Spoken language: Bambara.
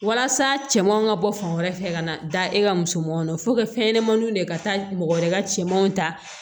Walasa cɛmanw ka bɔ fan wɛrɛ fɛ ka na da e ka musomanin fɛnɲɛnɛmaninw de ka taa mɔgɔ wɛrɛ ka cɛmanw ta